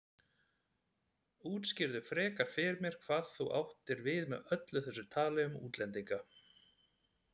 Útskýrðu frekar fyrir mér hvað þú áttir við með öllu þessu tali um útlendinga.